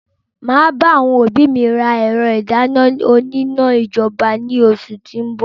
Máa bá àwọn òbí mi rà ẹ̀rọ ìdáná òní iná ijọba ni oṣù ti o n bọ̀.